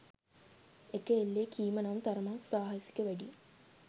එක එල්ලේ කීම නම් තරමක් සාහසික වැඩියි